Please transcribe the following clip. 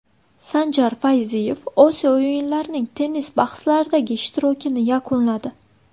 Sanjar Fayziyev Osiyo o‘yinlarining tennis bahslaridagi ishtirokini yakunladi.